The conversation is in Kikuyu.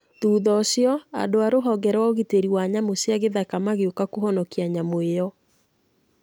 Thutha ũcio, andũ a rũhonge rwa ũgitĩri wa nyamũ cia gĩthaka magĩũka kũhonokia nyamũ ĩyo.